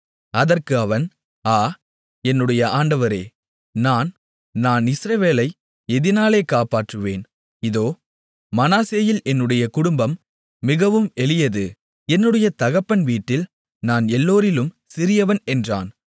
அதற்கு அவன் ஆ என்னுடைய ஆண்டவரே நான் இஸ்ரவேலை எதினாலே காப்பாற்றுவேன் இதோ மனாசேயில் என்னுடைய குடும்பம் மிகவும் எளியது என்னுடைய தகப்பன் வீட்டில் நான் எல்லோரிலும் சிறியவன் என்றான்